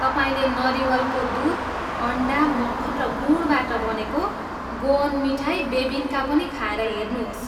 तपाईँले नरिवलको दुध, अन्डा, मक्खन र गुडबाट बनेको गोअन मिठाई बेबिन्का पनि खाएर हेर्नुहोस्।